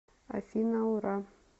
афина ура